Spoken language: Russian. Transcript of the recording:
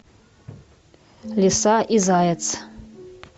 лиса и заяц